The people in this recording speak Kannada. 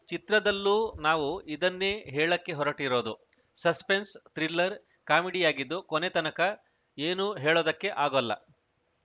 ಚಿತ್ರದಲ್ಲೂ ನಾವು ಇದನ್ನೇ ಹೇಳಕ್ಕೆ ಹೊರಟಿರೋದು ಸೆಸ್ಪನ್ಸ್‌ ಥ್ರಿಲ್ಲರ್‌ ಕಾಮಿಡಿಯಾಗಿದ್ದು ಕೊನೆತನಕ ಏನು ಹೇಳೊದಕ್ಕೆ ಆಗೋಲ್ಲ